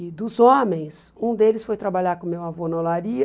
E dos homens, um deles foi trabalhar com o meu avô na olaria,